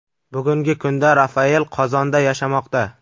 Bugungi kunda Rafael Qozonda yashamoqda.